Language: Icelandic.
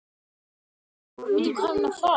Tók af hnúann.